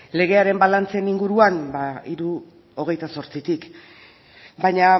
legearen balantzen inguruan hiru hogeita zortzitik baina